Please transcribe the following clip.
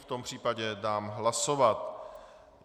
V tom případě dám hlasovat.